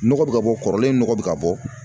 Nɔgɔ bɛ ka bɔ kɔrɔlen nɔgɔ bɛ ka bɔ..